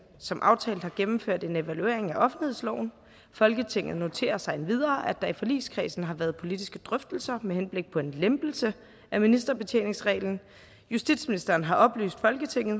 som aftalt har gennemført en evaluering af offentlighedsloven folketinget noterer sig endvidere at der i forligskredsen har været politiske drøftelser med henblik på en lempelse af ministerbetjeningsreglen justitsministeren har oplyst folketinget